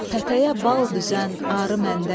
pətəyə bal düzən arı məndədir.